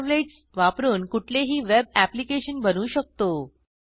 servlets वापरून कुठलेही web application बनवू शकतो